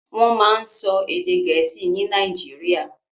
Wọ́n máa ń sọ èdè Gẹ̀ẹ́sì ní Nàìjíríà.